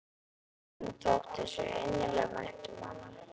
Honum þótti svo innilega vænt um hana.